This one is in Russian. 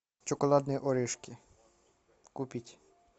шоколадные орешки купить